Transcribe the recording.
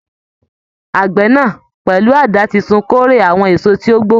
Àgbẹ̀ náà, pẹ̀lú àdá titun kórè àwọn èso tí ó gbó.